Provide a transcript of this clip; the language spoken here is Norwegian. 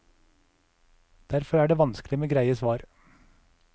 Derfor er det vanskelig med greie svar.